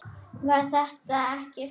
Var þetta ekki þota?